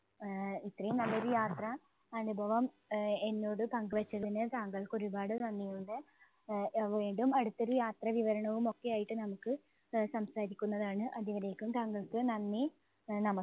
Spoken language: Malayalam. ആഹ് ഇത്രയും നല്ലൊരു യാത്ര അനുഭവം ആഹ് എന്നോട് പങ്കുവച്ചതിന് താങ്കൾക്ക് ഒരുപാട് നന്ദിയുണ്ട്. ആഹ് അഹ് വീണ്ടും അടുത്തൊരു യാത്രാവിവരണവും ഒക്കെയായിട്ട് നമുക്ക് അഹ് സംസാരിക്കുന്നതാണ്. അതുവരേക്കും താങ്കൾക്ക് നന്ദി, അഹ് നമ